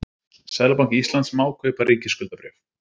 Seðlabanki Íslands má kaupa ríkisskuldabréf.